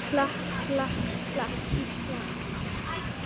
klapp, klapp, klapp, Ísland!